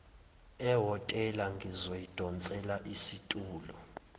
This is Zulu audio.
ehhotela ngizoyidonsela isitulo